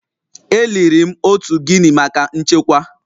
E liri m otu Guinea maka nchekwa